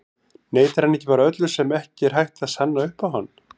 Neitar hann ekki bara öllu sem ekki er hægt að sanna upp á hann?